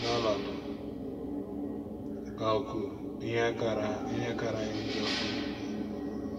“ N’ọnọdụ ka ukwuu, ihe kaara, ihe kaara anyị njọ, ” ka o kwuru.